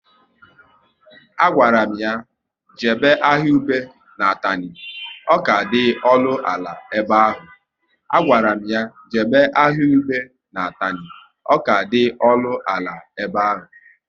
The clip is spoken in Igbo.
A gwara m ya jebe ahịa ube na Atani, ọ ka dị ọnụ ala ebe ahụ